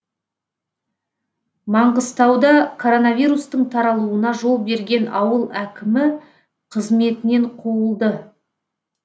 маңғыстауда коронавирустың таралуына жол берген ауыл әкімі қызметінен қуылды